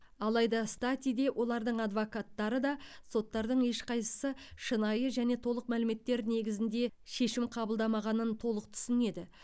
алайда стати де олардың адвокаттары да соттардың ешқайсысы шынайы және толық мәліметтер негізінде шешім қабылдамағанын толық түсінеді